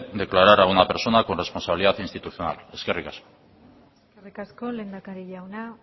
declarar a una persona con responsabilidad institucional eskerrik asko eskerrik asko lehendakari jauna